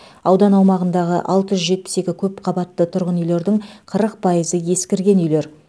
аудан аумағындағы алты жүз жетпіс екі көпқабатты тұрғын үйлердің қырық пайызы ескірген үйлер